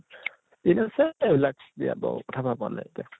ঠিক আছে এই বিলাক বিয়া বাউ কথা ভবা নাই এতিয়া